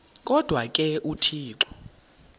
kodwa ke uthixo